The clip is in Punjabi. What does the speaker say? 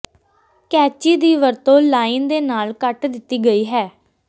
ਕੈਚੀ ਦੀ ਵਰਤੋਂ ਲਾਈਨ ਦੇ ਨਾਲ ਕੱਟ ਦਿੱਤੀ ਗਈ ਹੈ